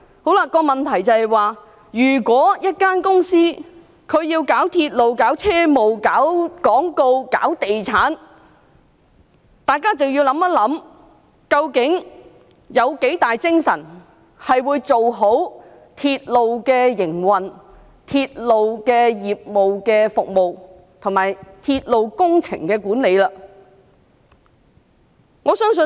所以，如果一間公司在處理鐵路業務外，還要處理廣告和地產項目等，大家便要想想，它究竟有多少精力做好鐵路的營運、服務及鐵路工程的管理？